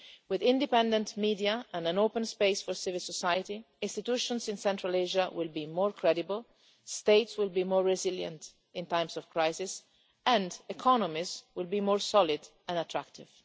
With independent media and an open space for civil society, institutions in Central Asia will be more credible, states will be more resilient in times of crisis, and economists would be more solid and attractive.